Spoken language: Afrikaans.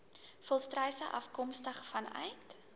volstruise afkomstig vanuit